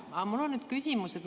Aga mul on küsimus.